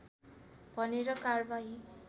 भनेर कारवाही